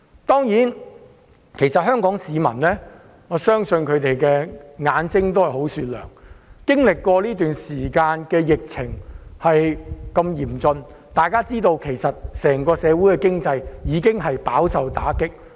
當然，我相信香港市民的眼睛是雪亮的，這段時間經歷過如此嚴峻的疫情，整體社會經濟已飽受打擊。